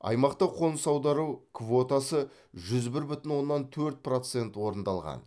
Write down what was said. аймақта қоныс аудару квотасы жүз бір бүтін оннан төрт процент орындалған